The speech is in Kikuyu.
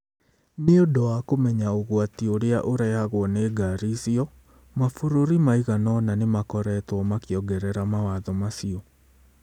Nĩ ũndũ wa kũmenya ũgwati ũrĩa ũrehagwo nĩ ngari icio, mabũrũri maigana ũna nĩ makoretwo makĩongerera mawatho macio.